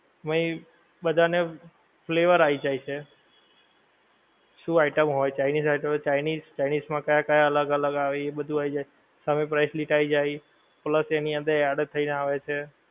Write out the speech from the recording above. main બધાં ને flavor આઈ જાએ છે શું item હોએ chinese item હોએ chinese chinese માં કયાં કયાં અલગ અલગ આવે પછી એ બધું આઈ જાએ હવે price list આઈ જાએ ઓલા એની અંદર add થઇ ને આવે છે